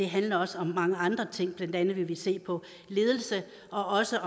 handler også om mange andre ting blandt andet vil vi se på ledelse og også